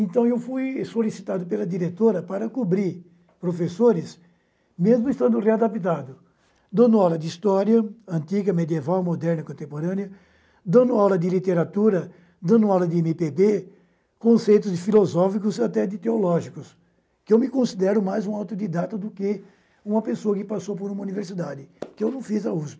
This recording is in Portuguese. Então, eu fui solicitado pela diretora para cobrir professores, mesmo estando readaptado, dando aula de história antiga, medieval, moderna, contemporânea, dando aula de literatura, dando aula de eme pê bê, conceitos filosóficos e até de teológicos, que eu me considero mais um autodidata do que uma pessoa que passou por uma universidade, que eu não fiz a USP.